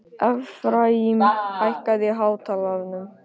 Efraím, hækkaðu í hátalaranum.